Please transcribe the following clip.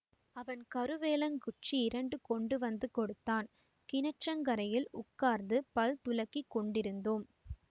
அவன் கருவேலங்குச்சி இரண்டு கொண்டு வந்து கொடுத்தான் கிணற்றங்கரையில் உட்கார்ந்து பல் துலக்கிக் கொண்டிருந்தோம்